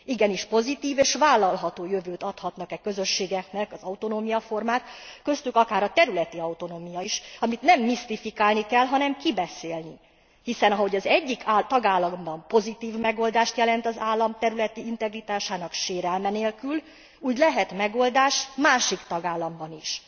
Igenis pozitív és vállalható jövőt adhatnak e közösségeknek az autonómiaformák, köztük akár a területi autonómia is, amit nem misztifikálni kell, hanem kibeszélni, hiszen ha az egyik tagállamban pozitív megoldást jelent az állam területi integritásának sérelme nélkül, úgy lehet megoldás másik tagállamban is.